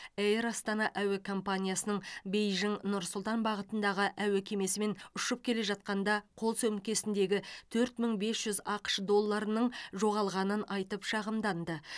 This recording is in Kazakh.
эйр астана әуе компаниясының бейжің нұр сұлтан бағытындағы әуе кемесімен ұшып келе жатқанда қол сөмкесіндегі төрт мың бес жүз ақш долларының жоғалғанын айтып шағымданды